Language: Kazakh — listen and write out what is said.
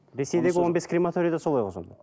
ресейдегі он бес крематория да солай ғой сонда